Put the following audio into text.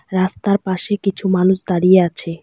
রাস্তার পাশে কিছু মানুষ দাঁড়িয়ে আছে।